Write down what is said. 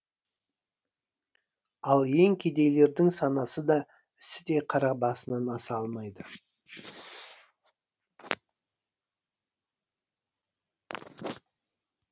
ал ең кедейлердің санасы да ісі де қара басынан аса алмайды